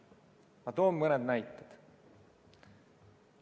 Ma toon mõned näited.